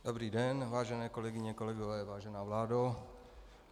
Dobrý den, vážené kolegyně, kolegové, vážená vládo.